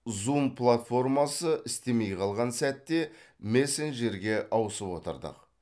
зум платформасы істемей қалған сәтте мессенджерге ауысып отырдық